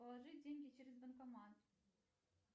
положить деньги через банкомат